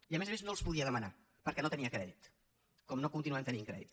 i a més a més no els podia demanar perquè no tenia crèdit com no continuem tenint crèdit